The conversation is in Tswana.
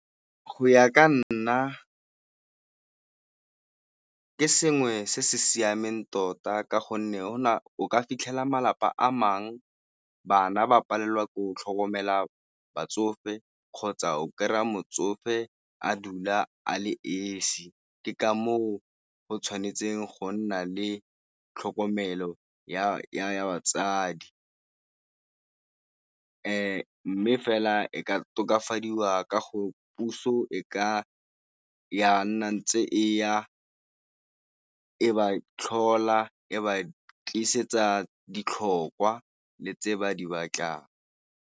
Go ya ka nna ke sengwe se se siameng tota ka gonne o ka fitlhela malapa a mangwe bana ba palelwa ke go tlhokomela batsofe kgotsa o kry-a motsofe a dula a le esi, ke ka moo o tshwanetseng go nna le tlhokomelo ya batsadi. Mme fela e ka tokafadiwa ka go puso e ka ya nna ntse e ya e ba tlhola e ba tlisetsa ditlhokwa le tse ba di batlang.